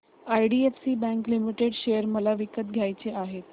IDFC bank limited share मला विकत घ्यायचे आहेत